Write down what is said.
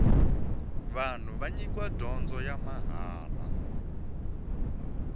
vanhu va nyikiwa dyondzo ya mahala